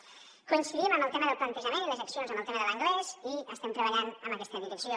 coincidim en el tema del plantejament i de les accions en el tema de l’anglès i estem treballant en aquesta direcció